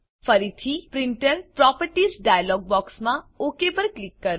ફરીથી printer properties dialog બોક્સમાં OK પર ક્લિક કરો